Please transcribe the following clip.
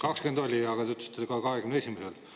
2020 oli, aga te ütlesite, et ka 2021. aastal.